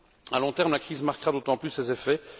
À long terme, la crise marquera d'autant plus ses effets.